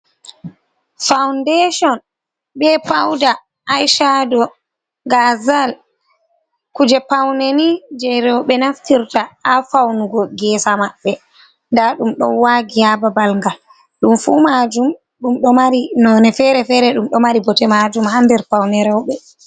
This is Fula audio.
Fawundeshon, be pauda a shado gazal kuje pauneni je roɓe naftirta ha faunugo ngesa maɓɓe, nda ɗum ɗon wagi ha babalgal, ɗum fu majum ɗum fere fere ɗum ɗo mari bote majum hander paune roɓe.